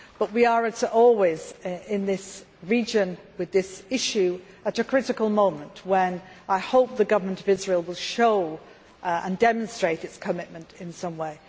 But we are, as always in this region with this issue, at a critical moment. I hope the Government of Israel will show and demonstrate its commitment in some way.